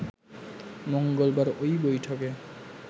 মঙ্গলবার ওই বৈঠকে